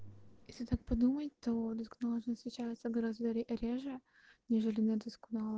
если так подумать только наложенным встречается гораздо реже нежели надо